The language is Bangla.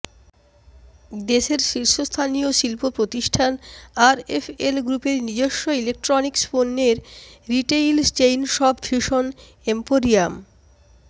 দেশের শীর্ষস্থানীয় শিল্প প্রতিষ্ঠান আরএফএল গ্রুপের নিজস্ব ইলেকট্রনিক্স পণ্যের retail chain shop Vision emporium